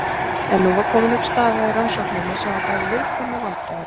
En nú var komin upp staða í rannsókninni sem var bæði viðkvæm og vandræðaleg.